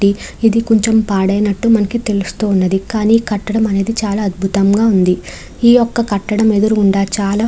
ఇది కొంచెం పాడైనట్టు మనకి తెలుస్తున్నది. కానీ కట్టడం అనేది చాలా అద్భుతం గా ఉంది. ఈ యొక్క కట్టడం ఎదురుగుండా చాలా --